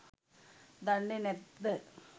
දන්නේ නැත්ද?